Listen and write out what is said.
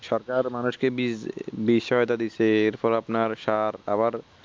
সরকার মানুষকে বিস্ বিষয় তা দিচ্ছে এর পর আপনার সার আবার